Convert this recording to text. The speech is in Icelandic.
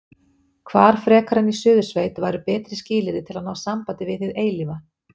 Hvar frekar en í Suðursveit væru betri skilyrði til að ná sambandi við hið eilífa?